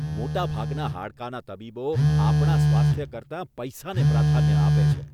મોટાભાગના હાડકાના તબીબો આપણા સ્વાસ્થ્ય કરતાં પૈસાને પ્રાધાન્ય આપે છે.